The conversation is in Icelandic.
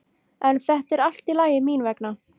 En þetta er allt í lagi mín vegna.